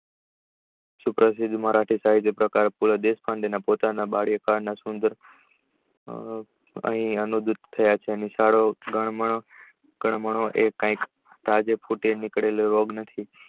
મરાઠી સાહિત્ય બાલ્ય કારણ ના અનુભૂત થયા છે ગનબાનો એ કય તાજો નીકળેલો રોગ નથી.